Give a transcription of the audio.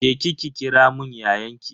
Je ki ki kiramun yayanki.